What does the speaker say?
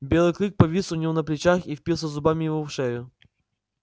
белый клык повис у него на плечах и впился зубами ему в шею